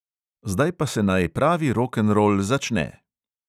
Zdaj pa se naj pravi rokenrol začne!